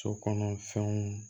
So kɔnɔ fɛnw